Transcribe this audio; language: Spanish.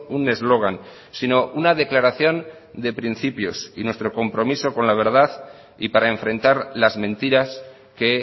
un eslogan sino una declaración de principios y nuestro compromiso con la verdad y para enfrentar las mentiras que